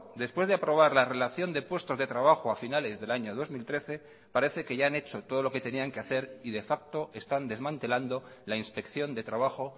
después de aprobar la relación de puestos de trabajo a finales del año dos mil trece parece que ya han hecho todo lo que tenían que hacer y de facto están desmantelando la inspección de trabajo